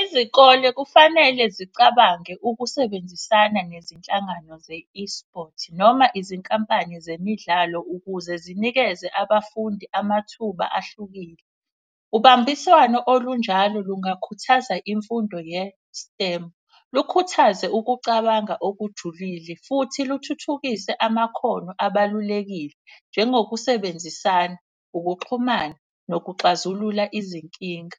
Izikole kufanele zicabange ukusebenzisana nezinhlangano ze-eSports noma izinkampani zemidlalo ukuze zinikeze abafundi amathuba ahlukile. Ubambiswano olunjalo lungakhuthaza imfundo ye-stem, lukhuthaze ukucabanga okujulile. Futhi luthuthukise amakhono abalulekile njengokusebenzisana, ukuxhumana nokuxazulula izinkinga.